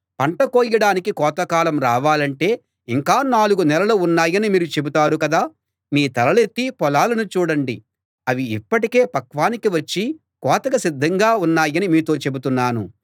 పంట కోయడానికి కోతకాలం రావాలంటే ఇంకా నాలుగు నెలలు ఉన్నాయని మీరు చెబుతారు కదా మీ తలలెత్తి పొలాలను చూడండి అవి ఇప్పటికే పక్వానికి వచ్చి కోతకు సిద్ధంగా ఉన్నాయని మీతో చెబుతున్నాను